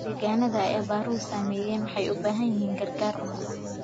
Deegaannada ay abaaruhu saameeyeen waxay u baahan yihiin gargaar cunto.